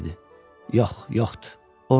Yox, yoxdu.